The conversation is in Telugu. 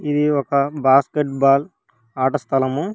ఇది ఒక బాస్కెట్బాల్ ఆట స్థలము.